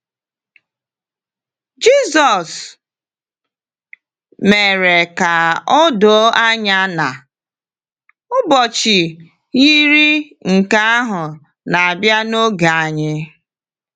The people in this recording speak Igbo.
Jịsọs mere ka o doo anya na “ụbọchị” yiri nke ahụ na-abịa n’oge anyị.